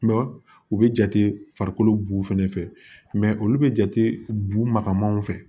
u bɛ jate farikolo bu fɛnɛ fɛ olu bɛ jate bu ma kamanw fɛ